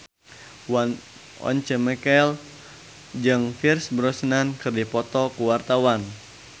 Once Mekel jeung Pierce Brosnan keur dipoto ku wartawan